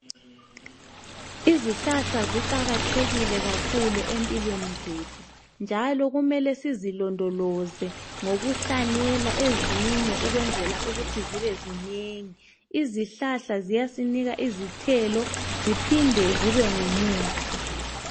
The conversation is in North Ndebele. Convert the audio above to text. Izihlahla ziqakathekile kakhulu empilweni zethu njalo kumele sizilondoloze ngokuhlanyela ezinye ukwenzela ukuthi zibe zingengi izihlahla ziyasinika izithelo ziphinde zibe ngumuthi.